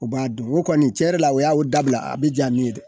U b'a dun o kɔni tiɲɛ yɛrɛ la o y'a o dabila a bi ja min ye dɛ